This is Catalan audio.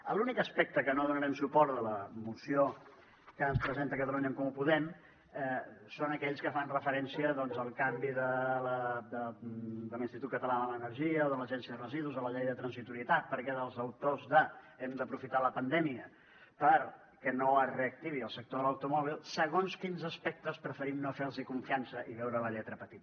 als únics aspectes que no donarem suport a la moció que ens presenta catalunya en comú podem són aquells que fan referència al canvi de l’institut català de l’energia de l’agència de residus de la llei de transitorietat perquè als autors d’ hem d’aprofitar la pandèmia perquè no es reactivi el sector de l’automòbil segons quins aspectes preferim no fer los confiança i veure la lletra petita